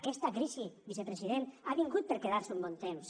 aquesta crisi vicepresident ha vingut per quedar se un bon temps